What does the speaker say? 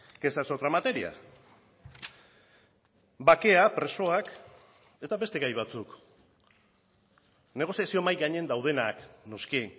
que esa es otra materia bakea presoak eta beste gai batzuk negoziazio mahai gainean daudenak noski